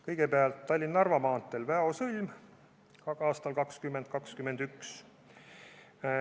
Kõigepealt, Tallinna–Narva maantee Väo sõlm on plaanitud aastasse 2021.